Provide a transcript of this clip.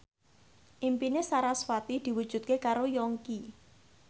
impine sarasvati diwujudke karo Yongki